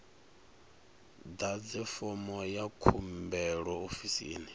ḓadze fomo ya khumbelo ofisini